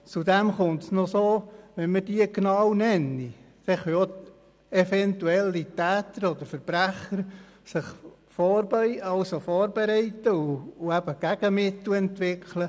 Hinzu kommt: Wenn wir all unsere Mittel im Gesetz aufzählen, können sich allfällige Täter oder Verbrecher vorbereiten und Gegenmittel entwickeln.